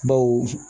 Baw